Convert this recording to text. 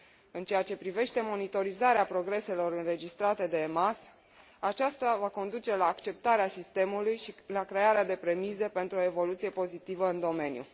În ceea ce privește monitorizarea progreselor înregistrate de EMAS, aceasta va conduce la acceptarea sistemului și la crearea de premize pentru o evoluție pozitivă în domeniu.